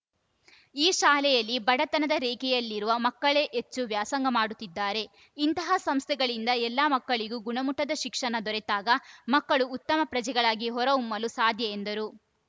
ಈ ಶಾಲೆಯಲ್ಲಿ ಬಡತನದ ರೇಖೆಯಲ್ಲಿರುವ ಮಕ್ಕಳೇ ಹೆಚ್ಚು ವ್ಯಾಸಂಗ ಮಾಡುತ್ತಿದ್ದಾರೆ ಇಂತಹ ಸಂಸ್ಥೆಗಳಿಂದ ಎಲ್ಲ ಮಕ್ಕಳಿಗೂ ಗುಣಮುಟ್ಟದ ಶಿಕ್ಷಣ ದೊರೆತಾಗ ಮಕ್ಕಳು ಉತ್ತಮ ಪ್ರಜೆಗಳಾಗಿ ಹೊರಹೊಮ್ಮಲು ಸಾಧ್ಯ ಎಂದರು